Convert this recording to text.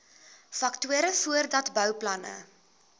faktore voordat bouplanne